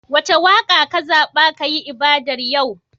Wace waƙa kazaɓa kayi ibadar yau?